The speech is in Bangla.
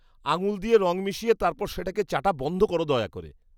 আঙুল দিয়ে রং মিশিয়ে তারপর সেটাকে চাটা বন্ধ করো দয়া করে।